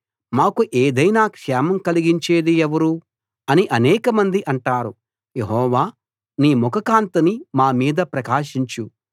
మాకు ఏదైనా క్షేమం కలిగించేది ఎవరు అని అనేకమంది అంటారు యెహోవా నీ ముఖ కాంతిని మా మీద ప్రకాశించు